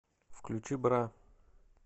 включи бра